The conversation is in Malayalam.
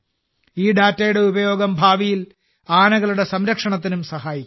ഈ ഡാറ്റയുടെ ഉപയോഗം ഭാവിയിൽ ആനകളുടെ സംരക്ഷണത്തിനും സഹായിക്കും